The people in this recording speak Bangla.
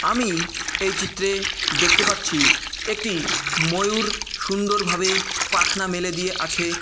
আমি-ই এই চিত্রে দেখতে পাচ্ছি-ই একটি ময়ূর সুন্দরভাবে পাখনা মেলে দিয়ে আছে-এ।